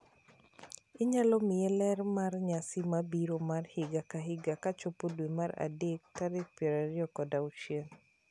Inyalo miya ler mar nyasi ma biro mar higa ka higa kochopo dwe mar adek tarik piero ariyo kod auchiel